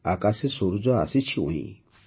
ଆକାଶେ ସୂରୁଜ ଆସିଛି ଉଇଁ